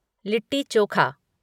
litti chokha